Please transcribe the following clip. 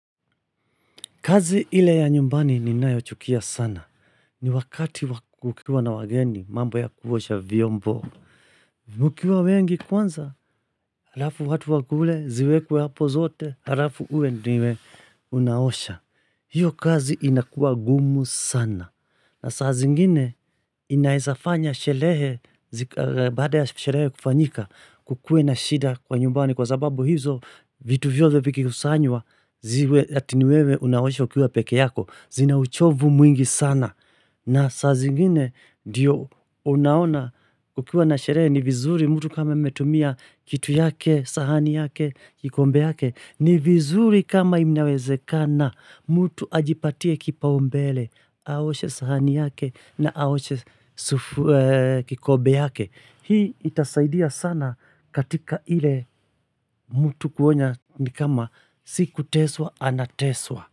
Kazi ile ya nyumbani ninayo chukia sana. Ni wakati wa ukiwa na wageni mambo ya kuosha vyombo. Mukiwa wengi kwanza, halafu watu watu wakule, ziwekwe hapo zote, halafu uwe ndiwe unaosha. Hiyo kazi inakua ngumu sana. Na saa zingine inaezafanya sherehe baada ya sherehe kufanyika kukuwe na shida kwa nyumbani kwa sababu hizo vitu vyote vikikusanywa ziwe ati ni wewe unaosha ukiwa peke yako zinauchovu mwingi sana na saa zingine ndiyo unaona ukiwa na sherehe ni vizuri mutu kama ametumia kitu yake, sahani yake, kikombe yake. Ni vizuri kama inawezekana mutu ajipatie kipaumbele, aoshe sahani yake na aoshe kikombe yake. Hii itasaidia sana katika ile mutu kuona ni kama si kuteswa ana teswa.